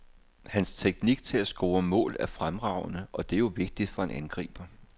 Hans teknik til at score mål er fremragende, og det er jo vigtigt for en angriber.